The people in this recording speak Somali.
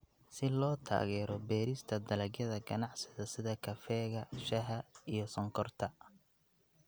Si loo taageero beerista dalagyada ganacsiga sida kafeega, shaaha, iyo sonkorta.